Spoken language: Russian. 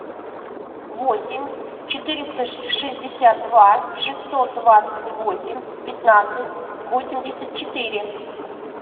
восемь четыреста шестьдесят два шестьсот двадцать восемь пятнадцать восемьдесят четыре